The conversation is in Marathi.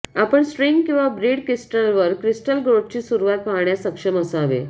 आपण स्ट्रिंग किंवा बीड क्रिस्टलवर क्रिस्टल ग्रोथची सुरवात पहाण्यास सक्षम असावे